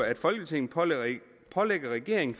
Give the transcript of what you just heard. at folketinget pålægger regeringen